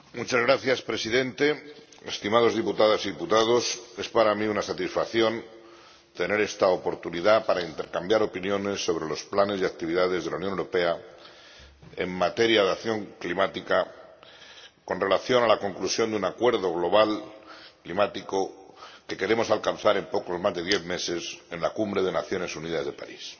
Señor Presidente, estimadas diputadas y diputados, es para mí una satisfacción tener esta oportunidad para intercambiar opiniones sobre los planes y actividades de la Unión Europea en materia de acción climática, con relación a la conclusión de un acuerdo global climático que queremos alcanzar en poco más de diez meses, en la Cumbre de las Naciones Unidas de París.